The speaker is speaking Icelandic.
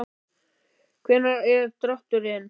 Hvenær er drátturinn?